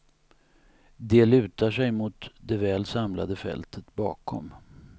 De lutar sig mot det väl samlade fältet bakom.